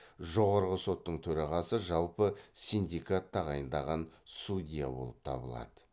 жоғарғы соттың төрағасы жалпы синдикат тағайындаған судья болып табылады